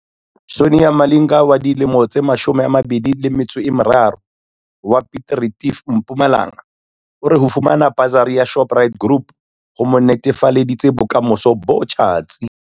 Sonia Malinga wa dilemo tse 23 wa Piet Retief, Mpumalanga o re ho fumana basari ya Shoprite Group ho mo netefaleditse bokamoso bo tjhatsi.